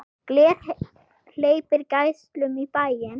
Gler hleypir geislum í bæinn.